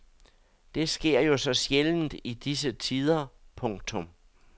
Det sker jo så sjældent i disse tider. punktum